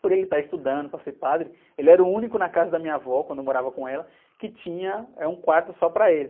Por ele estar estudando para ser padre, ele era o único na casa da minha avó, quando eu morava com ela, que tinha, eh, um quarto só para ele.